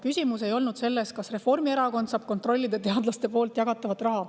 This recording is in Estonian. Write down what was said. Küsimus ei olnud selles, kas Reformierakond saab kontrollida teadlaste jagatavat raha.